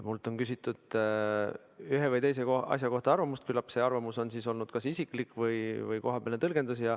Minult on küsitud ühe või teise asja kohta arvamust, küllap see arvamus on siis olnud kas isiklik või kohapealne tõlgendus.